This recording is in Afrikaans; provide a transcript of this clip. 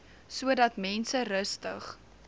sodat mense rustig